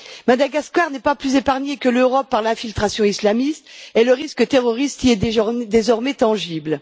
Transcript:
Madagascar n'est pas plus épargnée que l'Europe par l'infiltration islamiste et le risque terroriste y est désormais tangible.